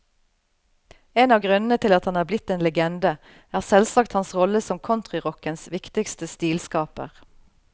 En av grunnene til at han er blitt en legende, er selvsagt hans rolle som countryrockens viktigste stilskaper.